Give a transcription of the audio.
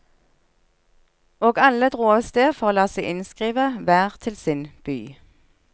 Og alle drog av sted for å la seg innskrive, hver til sin by.